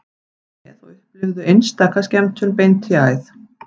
Komdu með og upplifðu einstaka skemmtun beint í æð